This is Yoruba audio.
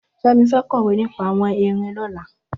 Femi fẹ̀ kọwé nipà awọn érin lọ̀lá